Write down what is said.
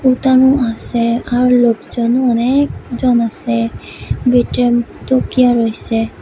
উল্টানো আছে আর লোকজনও অনেকজন আছে রয়েছে।